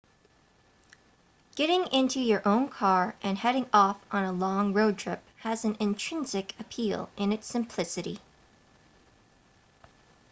getting into your own car and heading off on a long road trip has an intrinsic appeal in its simplicity